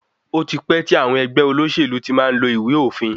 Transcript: Ó ti pẹ́ tí àwọn ẹgbẹ́ olóṣèlú ti má ń lo ìwé òfin.